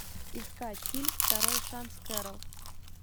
искать фильм второй шанс кэрол